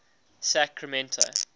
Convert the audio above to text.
sacramento